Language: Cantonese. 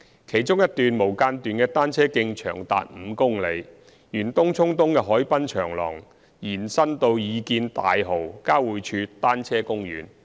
其中一段無間斷的單車徑長達5公里，沿東涌東的海濱長廊延伸至擬建大蠔交匯處單車公園。